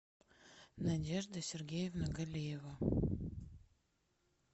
надежда сергеевна галиева